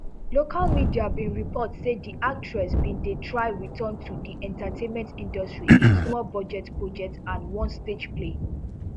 local media bin report say di actress bin dey try return to di entertainment industry in smallbudget projects and one stage play